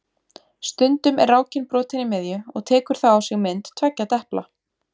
Stundum er rákin brotin í miðju og tekur þá á sig mynd tveggja depla.